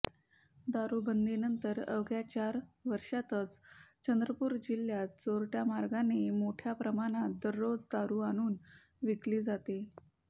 दारूबंदीनंतर अवघ्या चार वर्षांतच चंद्रपूर जिल्ह्यात चोरट्या मार्गाने मोठ्या प्रमाणात दररोज दारू आणून विकली जाते